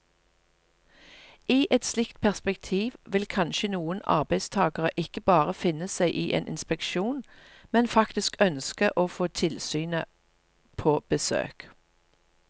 I et slikt perspektiv vil kanskje noen arbeidstagere ikke bare finne seg i en inspeksjon, men faktisk ønske å få tilsynet på besøk.